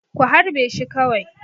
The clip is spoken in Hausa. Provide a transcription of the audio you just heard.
Ku harbe shi kawai!